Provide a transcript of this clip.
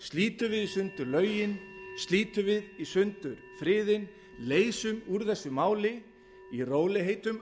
slítum við í sundur lögin slítum við í sundur friðinn leysum úr þessu máli í rólegheitum